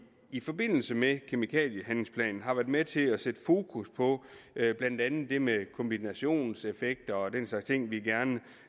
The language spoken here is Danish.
i forbindelse med kemikaliehandlingsplanen har været med til at sætte fokus på blandt andet det med kombinationseffekter og den slags ting vi gerne